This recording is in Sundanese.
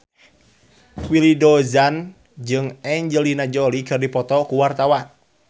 Willy Dozan jeung Angelina Jolie keur dipoto ku wartawan